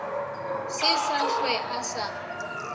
se sa hlwe a sa